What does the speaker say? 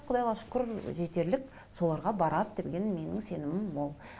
құдайға шүкір жетерлік соларға барады деген менің сенімім мол